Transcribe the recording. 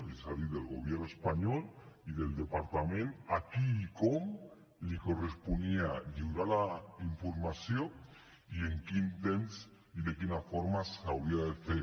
és a dir del gobierno espanyol i del departament a qui i com li corresponia lliurar la informació i en quin temps i de quina forma s’hauria de fer